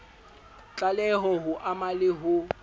tlaleho ho ama le ho